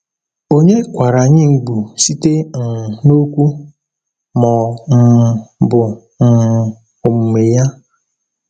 Onye kwara anyị mgbu site um n’okwu ma ọ um bụ um omume ya?